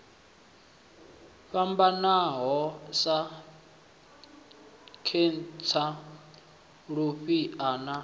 fhambanaho sa khentsa lufhia na